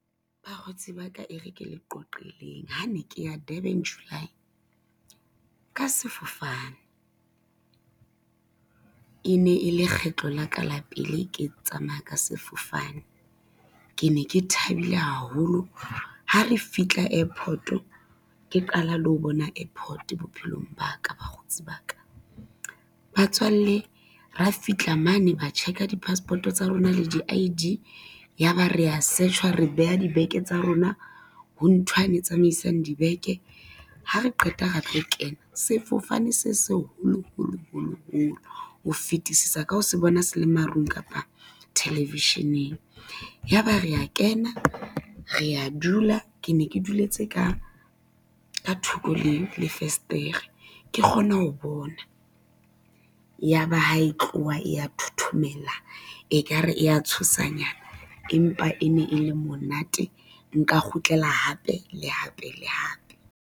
Bakgotsi ba ka e re ke le qoqeleng ha ne ke ya Durban July, ka sefofane e ne e le kgetlo la ka la pele ke tsamaya ka sefofane. Ke ne ke thabile haholo ha re fihla airport, ke qala le ho bona airport bophelong ba ka bakgotsi ba ka. Batswalle ra fihla mane ba check-a di-passport-o tsa rona le di-I_D, ya ba rea search-wa, re beha dibeke tsa rona ho nthwane e tsamaisang dibeke. Ha re qeta ra tlo kena sefofane se se holo holo holo holo, ho fetisisa ka ho se bona se le marung kapa television-eng. Ya ba rea kena rea a dula, ke ne ke duletse ka thoko le fesetere ke kgone ho bona, ya ba ha e tloha e ya thothomela, e ka re e ya tshosa nyana empa e ne e le monate, nka kgutlela hape le hape le hape.